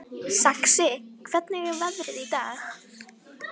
Saxi, hvernig er veðrið í dag?